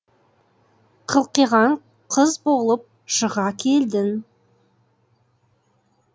қылқиған қыз болып шыға келдің